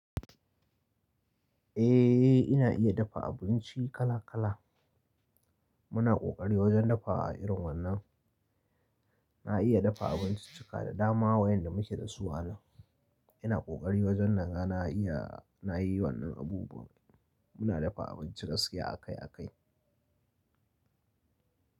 Eh ina iya dafa abinci kala kala. Muna kokari wajen dafa a irin wannan. Na iya dafa abinci cika da dama wa yanda muke da su a nan. Ina kokari wajen naga na iya, na yi wannan abubuwa. Muna dafa abinci gaskiya akai akai.